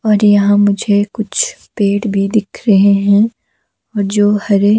और यहां मुझे कुछ पेड़ भी दिख रहे हैं और जो हरे--